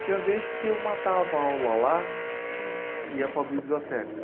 Tinha vez que eu matava aula lá e ia para a biblioteca.